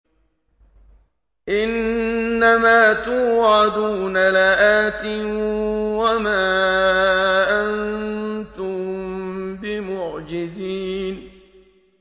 إِنَّ مَا تُوعَدُونَ لَآتٍ ۖ وَمَا أَنتُم بِمُعْجِزِينَ